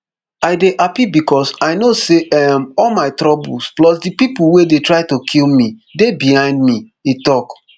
i happy becos i no say um all my troubles plus di pipo wey dey try to kill me dey behind me e tok